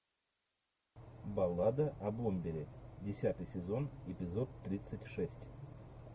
баллада о бомбере десятый сезон эпизод тридцать шесть